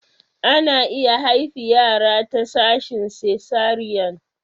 Ana iya haifi yara ta sashin cesarean.